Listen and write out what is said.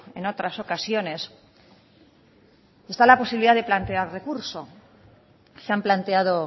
en otras ocasiones está la posibilidad de plantear recurso se han planteado